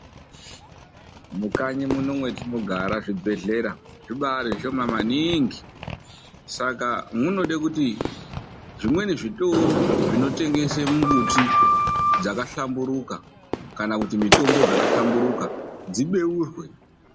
MUKANYI MUNO MWETINOGARA ZVIBHEHLERA ZVIBAARI ZVISHOMA MANINGI. SAKA MUNODE KUTI ZVIMWENI ZVITORO ZVINOTENGESA MUMBUTI DZAKAHLAMBURUKA KANA KUTI MITOMBO DZAKHLAMBURUKA DZIBEURWE.